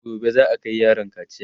gobe za'a Kai yaron kaciya